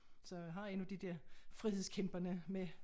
Så jeg har en af de der frihedskæmperne med